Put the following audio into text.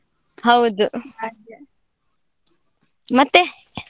ಹೌದು ಮತ್ತೆ?